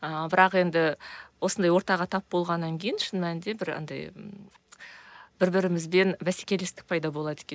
ыыы бірақ енді осындай ортаға тап болғаннан кейін шын мәнінде бір андай ммм бір бірімізбен бәсекелестік пайда болады екен